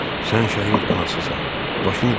Sən şəhid anasısan, başını dik tut.